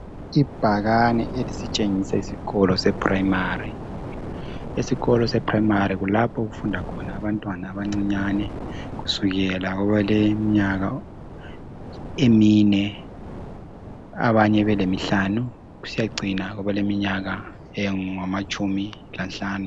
Ibhakani elisitshengisa isikolo sePrimary kulapho okufunda khona abantwana abancinyane kusukela abale mnyaka emine abanye bele mihlani kusiyacina kwabele minyaka engamatshumi lanhlanu